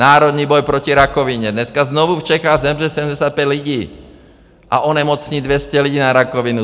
Národní boj proti rakovině, dneska znovu v Čechách zemře 75 lidí a onemocní 200 lidí na rakovinu.